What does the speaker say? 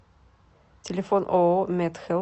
телефон ооо медхелп